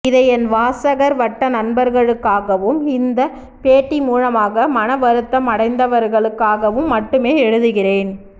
இதை என் வாசகர் வட்ட நண்பர்களுக்காகவும் இந்தப் பேட்டி மூலமாக மனவருத்தம் அடைந்தவர்களுக்காகவும் மட்டுமே எழுதுகிறேன்